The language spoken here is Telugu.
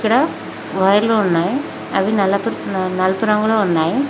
ఇక్కడ వైర్లు ఉన్నాయి అవి నలుపు రంగులో ఉన్నాయి.